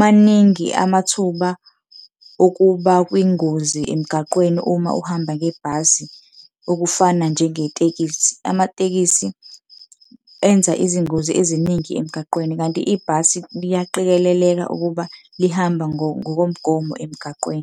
maningi amathuba okuba kwingozi emgaqweni uma uhamba ngebhasi, okufana njengetekisi. Amatekisi enza izingozi eziningi emgaqweni, kanti ibhasi liyaqikeleleka ukuba lihamba ngokomgomo emgaqweni.